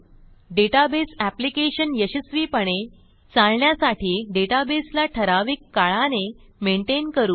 database application यशस्वीपणे चालण्यासाठी डेटाबेसला ठराविक काळाने मेनटेन करू